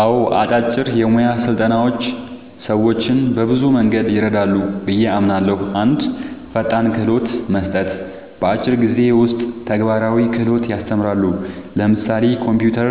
አዎን፣ አጫጭር የሙያ ስልጠናዎች ሰዎችን በብዙ መንገድ ይረዳሉ ብዬ አምናለሁ፦ 1. ፈጣን ክህሎት መስጠት – በአጭር ጊዜ ውስጥ ተግባራዊ ክህሎት ያስተምራሉ (ለምሳሌ ኮምፒውተር፣